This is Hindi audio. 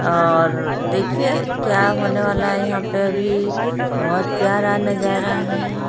और देखिए क्या होने वाला है यहां पे अभी बहोत प्यारा नजारा है।